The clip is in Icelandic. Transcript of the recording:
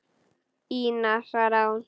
Ína, svaraði hún.